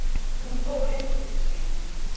Hún fór inn til sín.